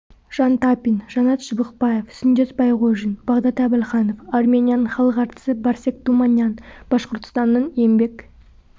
жан тапин жанат шыбықбаев сүндет байғожин бағдат әбілханов арменияның халық әртісі барсег туманян башқұртстанның еңбек